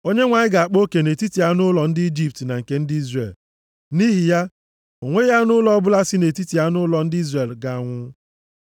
Onyenwe anyị ga-akpa oke nʼetiti anụ ụlọ ndị Ijipt na nke ndị Izrel. Nʼihi ya, o nweghị anụ ụlọ ọbụla si nʼetiti anụ ụlọ ndị Izrel ga-anwụ.’ ”